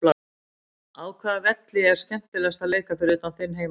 Á hvaða velli er skemmtilegast að leika fyrir utan þinn heimavöll?